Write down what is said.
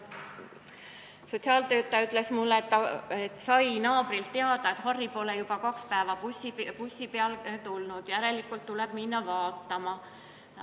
Sotsiaaltöötaja ütles mulle, sai naabrilt teada, et Harri pole juba kaks päeva bussi peale tulnud, järelikult tuleb minna teda vaatama.